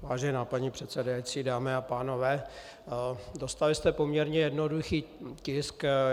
Vážená paní předsedající, dámy a pánové, dostali jste poměrně jednoduchý tisk.